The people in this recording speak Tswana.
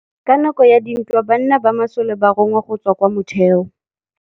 Ka nakô ya dintwa banna ba masole ba rongwa go tswa kwa mothêô.